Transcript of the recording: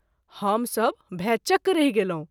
हम सभ भैं चक रहि गेलहुँ।